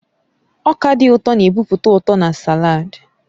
Ọka dị ụtọ na-ebupụta ụtọ na sàlaad